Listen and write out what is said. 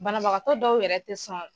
Banabagakɔ dɔw yɛrɛ te sɔn